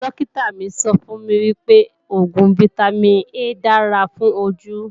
Dókítà mi sọ fún mi pé Vitamin A dára fún ojú